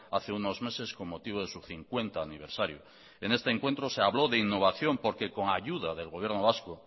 hace unos meses con motivo de su cincuenta aniversario en este encuentro se habló de innovación porque con ayuda del gobierno vasco